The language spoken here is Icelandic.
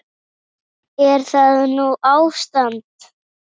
Er það nú ástand!